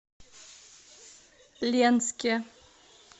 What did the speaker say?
ленске